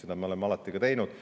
Seda me oleme alati ka teinud.